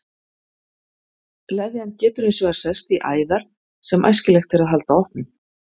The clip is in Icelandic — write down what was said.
Leðjan getur hins vegar sest í æðar sem æskilegt er að halda opnum.